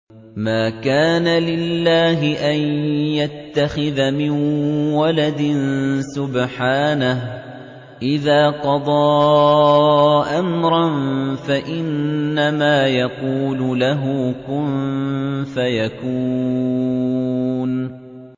مَا كَانَ لِلَّهِ أَن يَتَّخِذَ مِن وَلَدٍ ۖ سُبْحَانَهُ ۚ إِذَا قَضَىٰ أَمْرًا فَإِنَّمَا يَقُولُ لَهُ كُن فَيَكُونُ